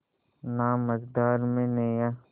ना मझधार में नैय्या